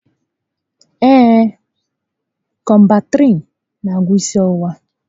Ee, Kọmbantrịịn n'agwọ isi ọwụwa